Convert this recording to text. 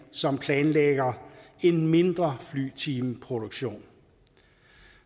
som planlægger en mindre flyvetimeproduktion